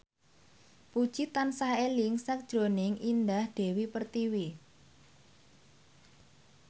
Puji tansah eling sakjroning Indah Dewi Pertiwi